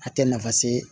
A tɛ nafa se